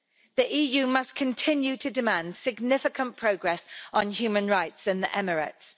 The EU must continue to demand significant progress on human rights in the Emirates.